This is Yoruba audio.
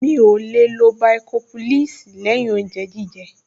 Mi ò lè lo bàìkọ́ḿpúlẹ́ẹ̀sì lẹ́yìn oúnjẹ jíjẹ